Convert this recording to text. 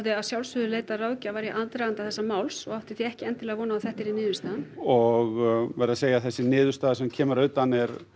að sjálfsögðu leitað ráðgjafar í aðdraganda þessa máls og átti ekki endilega von um að þetta yrði niðurstaðan og verð að segja að þessi niðurstaða sem kemur að utan